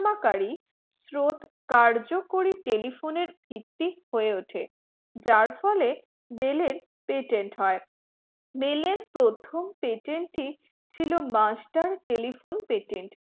কালীন স্রোত কার্যকরী telephone ভিত্তি হয়ে উঠে, যার ফলে বেল্ patent হয়, bell প্রথম patent টি ছিল master telephone patent